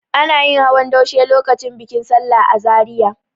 Ana yin hawan daushe lokacin bikin sallah a Zariya.